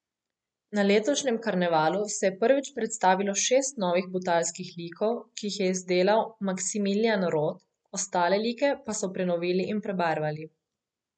Na letošnjem karnevalu se je prvič predstavilo šest novih butalskih likov, ki jih je izdelal Maksimiljan Rot, ostale like pa so prenovili in prebarvali.